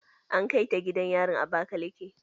An kai ta gidan yarin abakaleke.